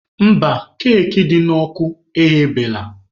Mba, keki dị n'ọkụ eghebeela.